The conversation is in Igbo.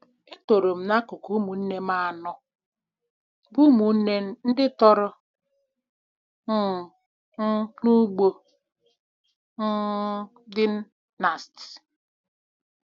Etorom na akụkụ ụmụnne m anọ, bụ́ ụmụnne ndị tọrọ um m, n’ugbo um dị na St.